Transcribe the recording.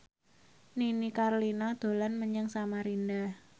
Nini Carlina dolan menyang Samarinda